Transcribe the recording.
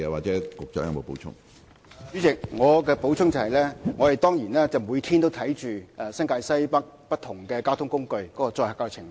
主席，我的補充答覆就是，我們當然每天都監察新界西北不同交通工具的載客情況。